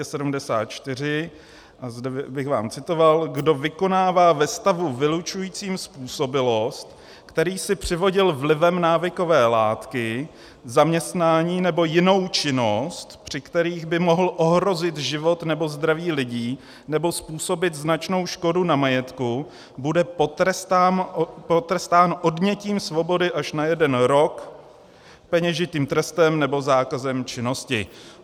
A zde bych vám citoval: "Kdo vykonává ve stavu vylučujícím způsobilost, který si přivodil vlivem návykové látky, zaměstnání nebo jinou činnost, při kterých by mohl ohrozit život nebo zdraví lidí nebo způsobit značnou škodu na majetku, bude potrestán odnětím svobody až na jeden rok, peněžitým trestem nebo zákazem činnosti."